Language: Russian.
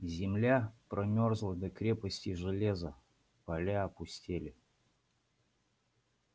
земля промёрзла до крепости железа поля опустели